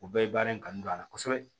O bɛɛ ye baara in kanu don a la kosɛbɛ